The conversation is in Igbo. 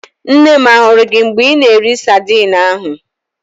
Nne m ahụrụ gị mgbe ị na-eri sadin ahụ?